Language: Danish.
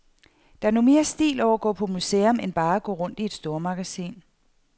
Der er nu mere stil over at gå på museum, end bare at gå rundt i et stormagasin.